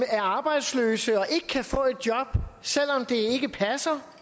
er arbejdsløse og ikke kan få et job selv om det ikke passer